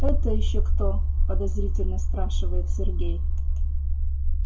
это ещё кто подозрительно спрашивает сергей